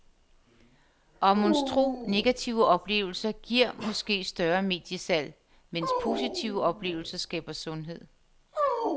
Og monstro, negative oplevelser giver måske større mediesalg, medens positive oplevelser skaber sundhed.